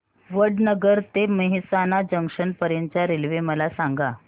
वडनगर ते मेहसाणा जंक्शन पर्यंत च्या रेल्वे मला सांगा